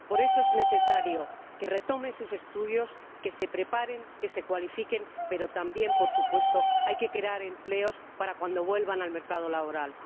es necesario que retomen sus estudios, que se preparen, que se cualifiquen, pero también, por supuesto, hay que crear empleos para cuando vuelvan al mercado laboral.